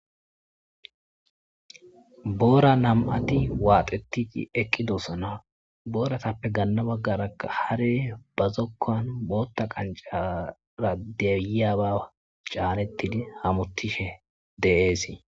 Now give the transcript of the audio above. boora nam7ati waaxetii eqqidossana booratappe ganna baggaraa hare ba zokkan bootta qancara deyiyaba caanettidi hamuttishe de7eesi